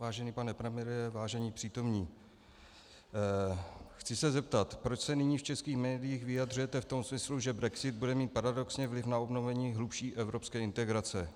Vážený pane premiére, vážení přítomní, chci se zeptat, proč se nyní v českých médiích vyjadřujete v tom smyslu, že brexit bude mít paradoxně vliv na obnovení hlubší evropské integrace.